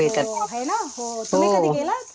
आहे. हो है ना. हो. तुम्ही कधी गेलात?